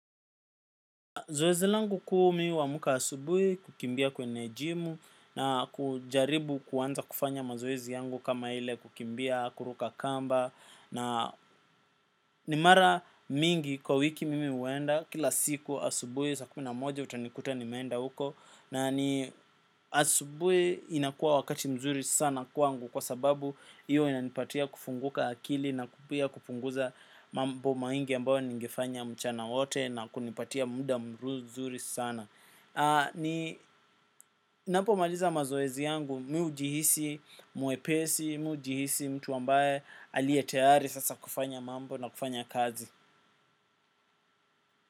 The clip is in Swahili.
Zoezi langu kuu mimi huamka asubuhi kukimbia kwenye jimu na kujaribu kuanza kufanya mazoezi yangu kama ile kukimbia, kuruka kamba na ni mara mingi kwa wiki mimi huenda kila siku asubuhi saa kumi na moja utanikuta nimeenda huko na ni asubuhi inakuwa wakati mzuri sana kwangu kwa sababu hiyo inanipatia kufunguka akili na pia kupunguza mambo mengi ambayo nigefanya mchana wote na kunipatia muda mzuri sana. Napomaliza mazoezi yangu, mimi hujihisi mwepesi, mimi hujihisi mtu ambaye aliye tayari sasa kufanya mambo na kufanya kazi.